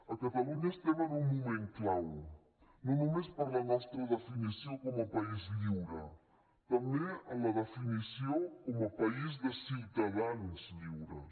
a catalunya estem en un moment clau no només per la nostra definició com a país lliure també en la definició com a país de ciu tadans lliures